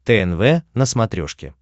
тнв на смотрешке